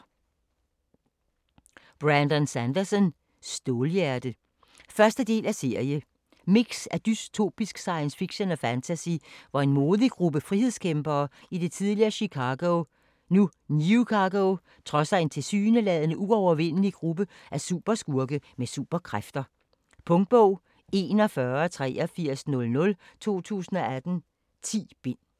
Sanderson, Brandon: Stålhjerte 1. del af serie. Mix af dystopisk science fiction og fantasy, hvor en modig gruppe frihedskæmpere i det tidligere Chicago, nu Newcago, trodser en tilsyneladende uovervindelig gruppe af superskurke med superkræfter. Punktbog 418300 2018. 10 bind.